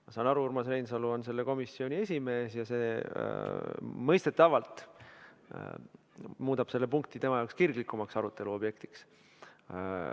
Ma saan aru, Urmas Reinsalu on selle komisjoni esimees ja see mõistetavalt muudab selle punkti tema jaoks kirglikumaks aruteluobjektiks.